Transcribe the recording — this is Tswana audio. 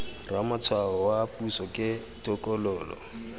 ramatshwao wa puso ke tokololo